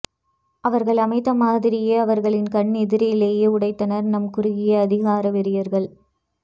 அவர்கள் அமைத்த மாதிரியை அவர்களின் கண்ணெதிரிலேயே உடைத்தனர் நம் குறுகிய அதிகார வெறியர்கள்